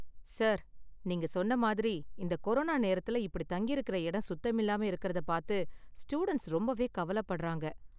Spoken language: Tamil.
சார், நீங்க சொன்ன மாதிரி இந்த கொரோனா நேரத்துல இப்படி தங்கியிருக்குற இடம் சுத்தமில்லாம இருக்குறத பார்த்து ஸ்டூடண்ட்ஸ் ரொம்பவே கவலைப்படுறாங்க